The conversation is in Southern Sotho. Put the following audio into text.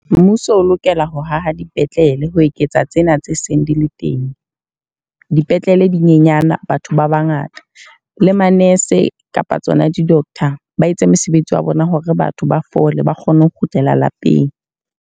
Mmuso o lokela ho haha dipetlele ho eketsa tsena tse seng di le teng. Dipetlele di nyenyana batho ba bangata. Le ma-nurse kapa tsona di-doctor ba etse mosebetsi wa bona hore batho ba fole ba kgone ho kgutlela lapeng.